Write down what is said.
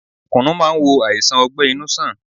Kùnu máa ń wo àìsàn ọgbẹ-inú sàn.